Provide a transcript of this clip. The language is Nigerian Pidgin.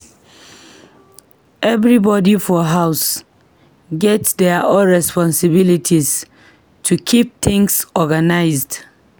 Everybody for house get their own responsibilities to keep things organized.